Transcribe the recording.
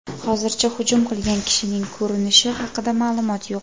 Hozircha hujum qilgan kishining ko‘rinishi haqida ma’lumot yo‘q.